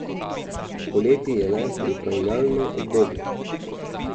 Poleti je le pripravljalno obdobje.